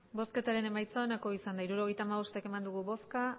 hirurogeita hamabost eman dugu bozka